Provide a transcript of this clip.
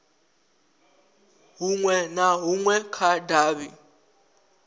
hunwe na hunwe kha davhi